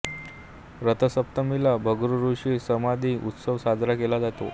रथसप्तमीला भृगु ऋषी समाधी उत्सव साजरा केला जातो